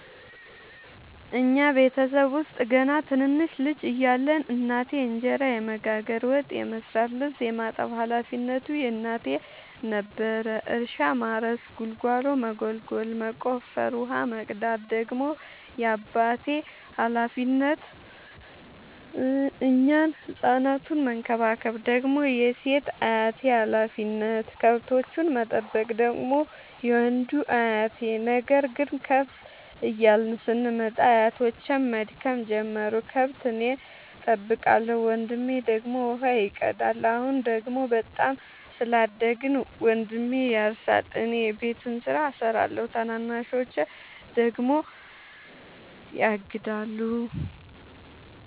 እኛ ቤተሰብ ውስጥ ገና ትንንሽ ልጅ እያለን እናቴ እንጀራ የመጋገር፤ ወጥ የመስራት ልብስ የማጠብ ሀላፊነቱ የእናቴ ነበረ። እርሻ ማረስ ጉልጎሎ መጎልጎል መቆፈር፣ ውሃ መቅዳት ደግሞ የአባቴ ሀላፊነት፤ እኛን ህፃናቱን መከባከብ ደግሞ የሴት አያቴ ሀላፊነት፣ ከብቶቹን መጠበቅ ደግሞ የወንዱ አያቴ። ነገር ግን ከፍ እያልን ስንመጣ አያቶቼም መድከም ጀመሩ ከብት እኔ ጠብቃለሁ። ወንድሜ ደግሞ ውሃ ይቀዳል። አሁን ደግሞ በጣም ስላደግን መንድሜ ያርሳ እኔ የቤቱን ስራ እሰራለሁ ታናናሾቼ ደግሞ ያግዳሉ።